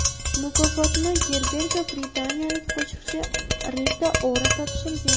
Mukofotni Gerberga britaniyalik qo‘shiqchi Rita Ora topshirgan.